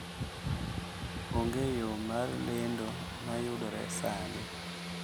Onge yo mar lendo ma yudore sani